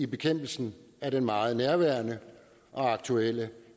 bekæmpelsen af den meget nærværende og aktuelle